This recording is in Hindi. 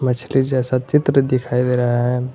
मछली जैसा चित्र दिखाई दे रहा है।